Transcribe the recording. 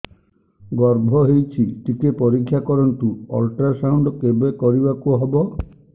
ଗର୍ଭ ହେଇଚି ଟିକେ ପରିକ୍ଷା କରନ୍ତୁ ଅଲଟ୍ରାସାଉଣ୍ଡ କେବେ କରିବାକୁ ହବ